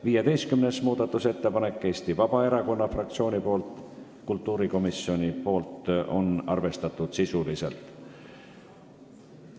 15. muudatusettepanek on Eesti Vabaerakonna fraktsioonilt, kultuurikomisjon on arvestanud sisuliselt.